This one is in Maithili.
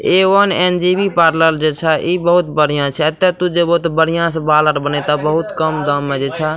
ए वन एन.जी.बी. पार्लर जे छा इ बहुत बढ़िया छै एता तू जइभो ते बहुत बढ़िया से बाल आर बनेता बहुत कम दाम मे जे छा।